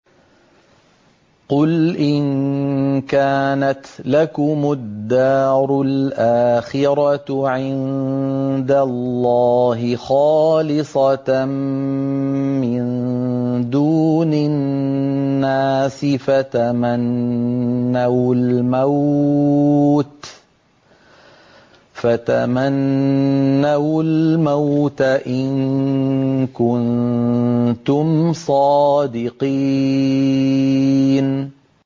قُلْ إِن كَانَتْ لَكُمُ الدَّارُ الْآخِرَةُ عِندَ اللَّهِ خَالِصَةً مِّن دُونِ النَّاسِ فَتَمَنَّوُا الْمَوْتَ إِن كُنتُمْ صَادِقِينَ